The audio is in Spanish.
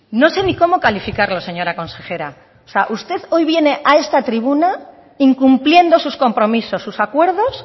no sé ni cómo calificarlo señora consejera o sea usted hoy viene a esta tribuna incumpliendo sus compromisos sus acuerdos